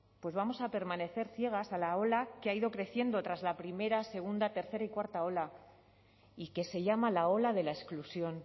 pues vamos a permanecer ciegas a la ola que ha ido creciendo tras la primera segunda tercera y cuarta ola y que se llama la ola de la exclusión